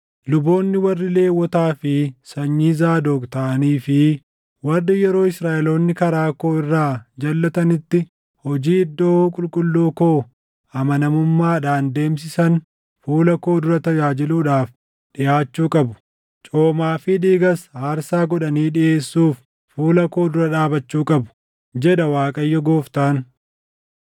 “ ‘Luboonni warri Lewwotaa fi sanyii Zaadoq taʼanii fi warri yeroo Israaʼeloonni karaa koo irraa jalʼatanitti hojii iddoo qulqulluu koo amanamummaadhaan deemsisan fuula koo dura tajaajiluudhaaf dhiʼaachuu qabu; coomaa fi dhiigas aarsaa godhanii dhiʼeessuuf fuula koo dura dhaabachuu qabu, jedha Waaqayyo Gooftaan.